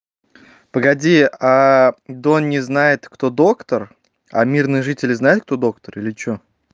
погоди дон не знает кто доктор а мирные жители знает кто доктор или что